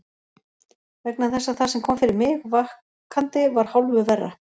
Vegna þess að það sem kom fyrir mig vakandi var hálfu verra.